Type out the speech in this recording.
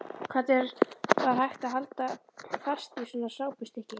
Hvernig var hægt að halda fast í svona sápustykki!